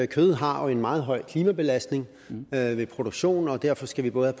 kød har en meget høj klimabelastning ved ved produktion og derfor skal vi både